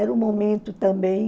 Era um momento também...